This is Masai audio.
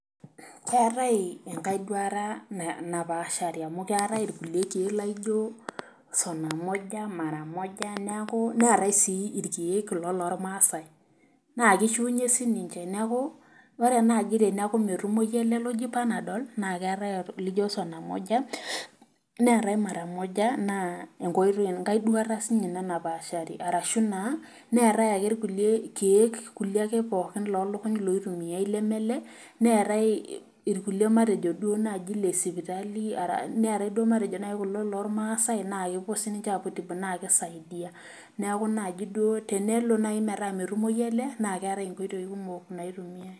Keetae enkae duata napaashari amu keetae irkulie keek laijo sonamoja, maramoja neeku neetae siii irkeek kulo lormasai. naa kishiunye sii ninche neeku ore naaji pee metumoyu ele oji Panadol naa keetae elaijo sonamoja neetae maramoja naa enkae duata siininye ina napaashari orashu naa neetae ake irkulie keek kulie ake loolokuny loitumiyae leme ele ,neetae naji irkulie lormasai naa kepuo siininche apuo aitibu naa kisaidia .neeku tenelo naji metaa metumoyu ele naa keetae nkoitoi kumok naitumiyae.